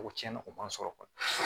O tiɲɛna o man sɔrɔ